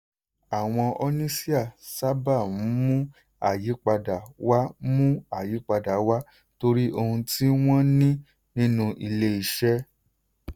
àwọn oníṣíà sábà ń mú ayípadà wá mú ayípadà wá torí ohun tí wọ́n ní nínú ilé-iṣẹ́.